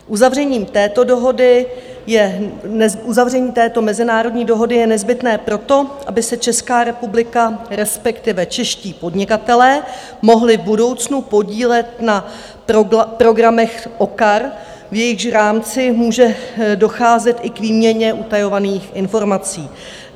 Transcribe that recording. Uzavření této mezinárodní dohody je nezbytné proto, aby se Česká republika, respektive čeští podnikatelé, mohli v budoucnu podílet na programech OCCAR, v jejichž rámci může docházet i k výměně utajovaných informací.